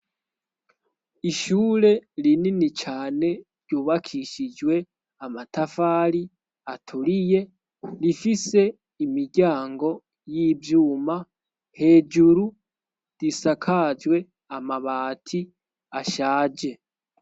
Ishure rinini cane ryubakishijwe amatafari aturiye rifise imiryango y'ivyuma hejuru risakajwe amabati ashaje.